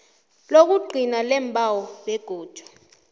lokugcina leembawo begodu